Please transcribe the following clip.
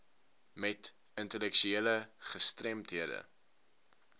met intellektuele gestremdhede